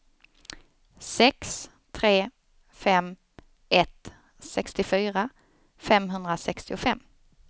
sex tre fem ett sextiofyra femhundrasextiofem